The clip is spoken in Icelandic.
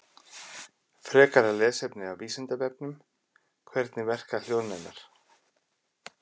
Frekara lesefni af Vísindavefnum: Hvernig verka hljóðnemar?